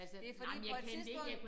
Det fordi på et tidspunkt